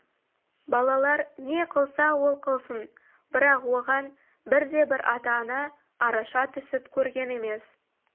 балалар не қылса ол қылсын бірақ оған бірде-бір ата-ана араша түсіп көрген емес